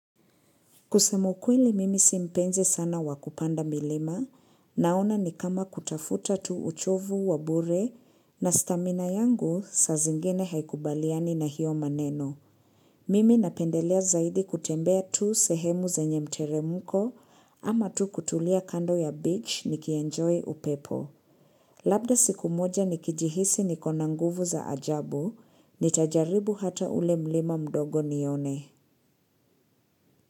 Kusema ukweli mimi simpenzi sana wakupanda milima naona ni kama kutafuta tu uchovu wabure na stamina yangu sa zingine haikubaliani na hiyo maneno. Mimi napendelea zaidi kutembea tu sehemu zenye mteremuko ama tu kutulia kando ya beach nikienjoy upepo. Labda siku moja nikijihisi niko na nguvu za ajabu, nitajaribu hata ule mlima mdogo nione.